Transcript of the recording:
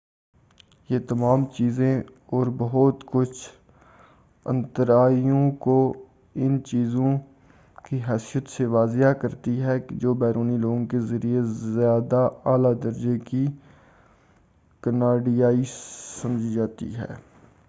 یہ تمام چیزیں اور بہت کچھ آنترایو کو ان چیزوں کی حیثیت سے واضح کرتی ہیں جو بیرونی لوگوں کے ذریعے زیادہ اعلی درجے کی کناڈیائی سمجھی جاتی ہے